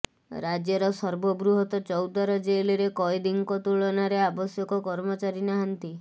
ରାଜ୍ୟର ସର୍ବବୃହତ୍ ଚୌଦ୍ୱାର ଜେଲ୍ରେ କଏଦୀଙ୍କ ତୁଳନାରେ ଆବଶ୍ୟକ କର୍ମଚାରୀ ନାହାନ୍ତି